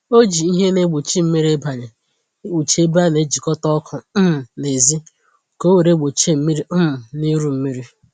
o ji ìhè na egbochi mmiri ibanye ekpuchi ebe a na-ejikọta ọkụ um n’èzí ka owere gbochie mmiri um na iru mmiri.